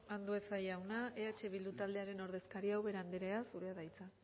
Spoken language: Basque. andueza jauna eh bildu taldearen ordezkaria ubera andrea zurea da hitza